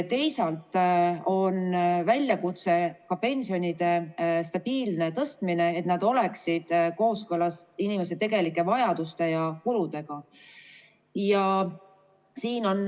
Teisalt on väljakutse ka pensionide stabiilne tõstmine, et nad oleksid kooskõlas inimeste tegelike vajaduste ja kuludega.